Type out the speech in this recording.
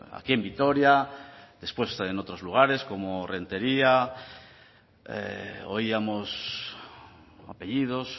aquí en vitoria después en otros lugares como errenteria oíamos apellidos